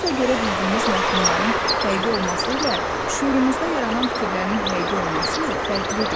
Gözlə görə bildiyimiz məfhumların həqiqi olması ilə şuurumuzda yaranan fikirlərin həqiqi olması fərqlidir.